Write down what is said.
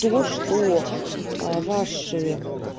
то что ваши